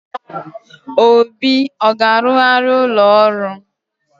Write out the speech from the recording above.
Obi a ga-arụgharị ụlọ ọrụ?